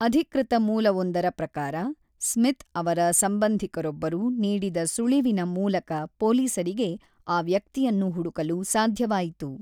ಅಧಿಕೃತ ಮೂಲವೊಂದರ ಪ್ರಕಾರ, ಸ್ಮಿತ್ ಅವರ ಸಂಬಂಧಿಕರೊಬ್ಬರು ನೀಡಿದ ಸುಳಿವಿನ ಮೂಲಕ ಪೊಲೀಸರಿಗೆ ಆ ವ್ಯಕ್ತಿಯನ್ನು ಹುಡುಕಲು ಸಾಧ್ಯವಾಯಿತು.